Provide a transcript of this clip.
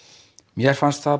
mér fannst það